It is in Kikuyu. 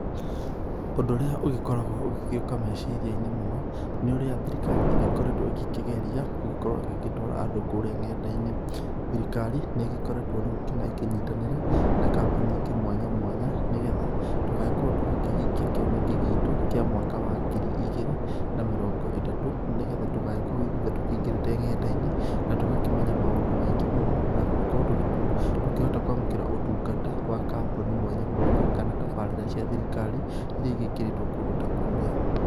Ũndũ ũrĩa ũgĩkoragwo ũgĩgĩuka meciria-inĩ mũno nĩ ũrĩa thirikari ĩgĩkoretwo ĩgĩkĩgeria gũgĩkorwo ĩgĩtwara andũ kũrĩa nenda-inĩ. Thirikari nĩ ĩgĩkoretwo rĩu nginya ĩkĩnyitanĩra na kambuni ingĩ mwanya mwanya, nĩ getha tũgagĩkorwo tũgĩkĩhingia kĩoneki gitu kĩa mwaka wa ngiri igĩrĩ na mirongo ĩtatũ, nĩ getha tũgagĩkorwo ithuothe tũkĩingĩrĩte nenda-inĩ, na tũgakĩmenya maũndũ maingĩ mũno, na gũkorwo tũgĩtu tũkĩhota kũamũkĩra ũtungata wa kambuni mwanya mwanya, kana tabarĩra cia thirikari iria ĩgĩkĩrĩtwo kũnda ta kũrĩa.